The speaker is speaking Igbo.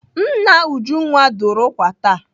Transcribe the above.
Nna Ujunwa dụrụ ụkwa taa.